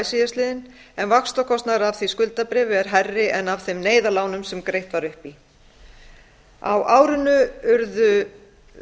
síðastliðinn en vaxtakostnaður af því skuldabréfi er hærri en af þeim neyðarlánunum sem greitt var upp í á árinu urðu